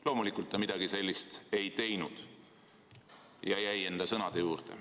Loomulikult ta midagi sellist ei teinud ja jäi enda sõnade juurde.